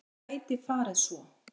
Það gæti farið svo.